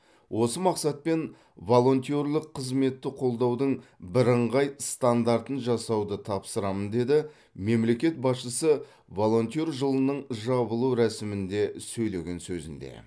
осы мақсатпен волонтерлік қызметті қолдаудың бірыңғай стандартын жасауды тапсырамын деді мемлекет басшысы волонтер жылының жабылу рәсімінде сөйлеген сөзінде